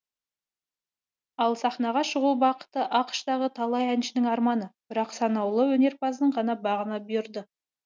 ал сахнаға шығу бақыты ақш тағы талай әншінің арманы бірақ саналуы өнерпаздың ғана бағына бұйырды